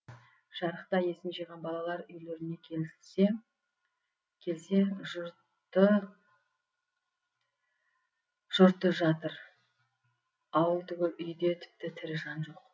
жарықта есін жиған балалар үйлеріне келсе жұрты жатыр ауыл түгіл үй де тіпті тірі жан жоқ